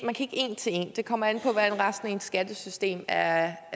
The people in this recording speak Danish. en til en det kommer an på hvordan resten af ens skattesystem er